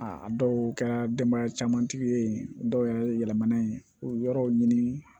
A a dɔw kɛra denbaya caman tigi ye dɔw yɛrɛ ye yɛlɛmana ye o yɔrɔw ɲini